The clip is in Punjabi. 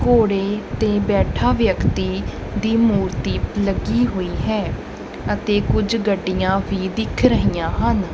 ਘੋੜੇ ਤੇ ਬੈਠਾ ਵਿਅਕਤੀ ਦੀ ਮੂਰਤੀ ਲੱਗੀ ਹੋਈ ਹੈ ਅਤੇ ਕੁਝ ਗੱਡੀਆਂ ਵੀ ਦਿੱਖ ਰਹੀਆਂ ਹਨ।